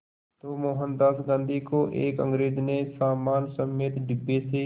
तो मोहनदास गांधी को एक अंग्रेज़ ने सामान समेत डिब्बे से